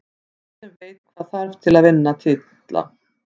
Lið sem veit hvað þarf til að vinna titla.